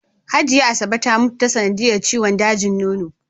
Hajiya Asabe ta mutu ta sanadiyar ciwon dajin nono.